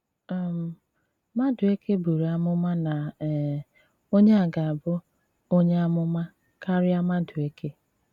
um Madùèkè bùrù àmụ̀mà na um Onye a gà-abụ “ onye àmụ̀mà ” kárịá Madùèkè.